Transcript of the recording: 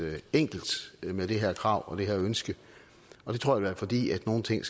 enkelt med det her krav og det her ønske og det tror jeg var fordi nogle ting